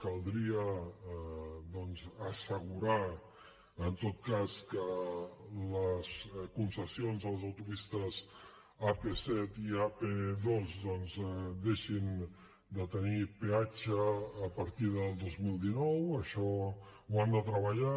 caldria doncs assegurar en tot cas que les concessions a les autopistes ap set i ap dos doncs deixin de tenir peatge a partir del dos mil dinou això ho han de treballar